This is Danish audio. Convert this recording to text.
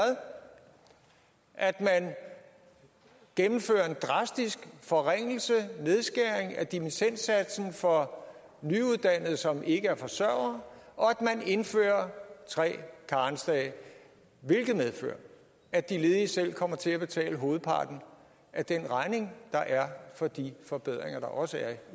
at man gennemfører en drastisk forringelse nedskæring af dimittendsatsen for nyuddannede som ikke er forsørgere og at man indfører tre karensdage hvilket medfører at de ledige selv kommer til at betale hovedparten af den regning der er for de forbedringer der også er